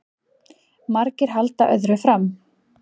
Margir halda öðru fram